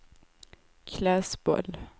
Klässbol